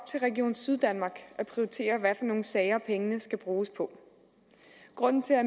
til region syddanmark at prioritere hvad for nogle sager pengene skal bruges på grunden til at